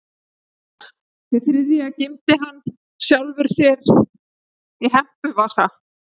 Hið þriðja geymdi hann sjálfum sér í hempuvasa.